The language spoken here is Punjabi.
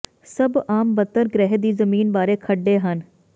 ਸਭ ਆਮ ਬਣਤਰ ਗ੍ਰਹਿ ਦੀ ਜ਼ਮੀਨ ਬਾਰੇ ਖੱਡੇ ਹਨ